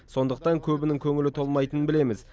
сондықтан көбінің көңілі толмайтынын білеміз